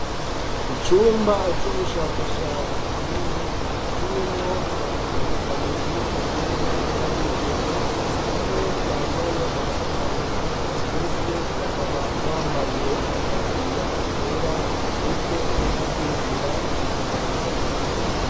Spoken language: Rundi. Icumba cubushakashatsi kinini kirimwo abantu babiri bagizwe nabigeme ,umwe yambaye agafuka munwa bose bakaba bambaye amataburiya yera ndetse nudukingira ibiganza.